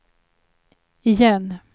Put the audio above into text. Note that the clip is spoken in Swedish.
igen